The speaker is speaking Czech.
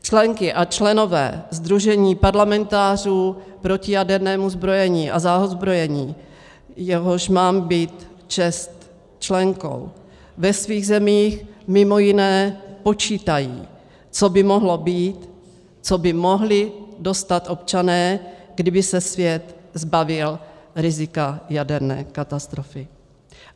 Členky a členové Sdružení parlamentářů proti jadernému zbrojení a za odzbrojení, jehož mám být čest členkou, ve svých zemích mimo jiné počítají, co by mohlo být, co by mohli dostat občané, kdyby se svět zbavil rizika jaderné katastrofy.